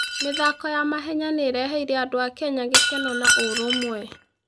mĩthako ya mahenya nĩ ĩreheire andũ a Kenya gĩkeno na ũrũmwe.